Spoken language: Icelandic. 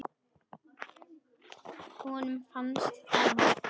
Honum fannst það vont.